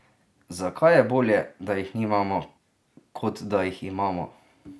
Zakaj je bolje, da jih nimamo kot da jih imamo?